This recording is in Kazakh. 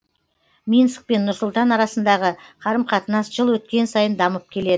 минск пен нұр сұлтан арасындағы қарым қатынас жыл өткен сайын дамып келеді